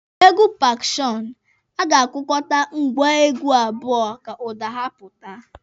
N'egwu pakọọshọnụ, a ga-akụkọta ngwa egwu abụọ ka ụda ha pụta.